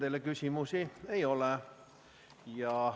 Rohkem küsimusi teile ei ole.